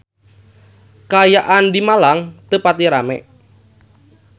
Kaayaan di Malang teu pati rame